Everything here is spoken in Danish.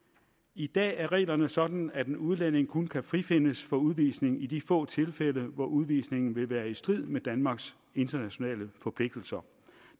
i dag er reglerne sådan at en udlænding kun kan frifindes for udvisning i de få tilfælde hvor udvisning vil være i strid med danmarks internationale forpligtelser